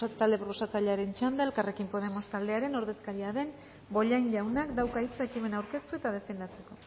talde proposatzailearen txanda elkarrekin podemos taldearen ordezkaria den bollain jaunak dauka hitza ekimena aurkeztu eta defendatzeko